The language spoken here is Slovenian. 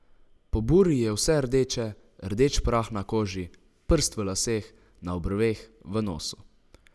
Po burji je vse rdeče, rdeč prah na koži, prst v laseh, na obrveh, v nosu.